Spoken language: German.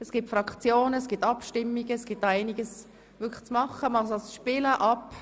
Es gibt Fraktionen und Abstimmungen, und man kann es ab einem Alter von zwölf Jahren spielen.